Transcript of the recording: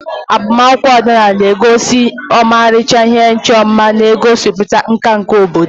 Agbamakwụkwọ ọdịnala na-egosi ọmarịcha ihe ịchọ mma, na-egosipụta nka nke obodo.